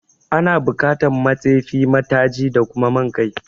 Ana bukatan ma tsefi, ma taji da kuma man kai